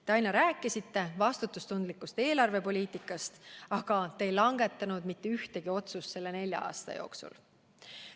Te aina rääkisite vastutustundlikust eelarvepoliitikast, aga te ei langetanud mitte ühtegi otsust selle nelja aasta jooksul.